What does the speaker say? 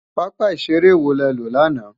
pápá ìṣeré wo le lọ lánàá?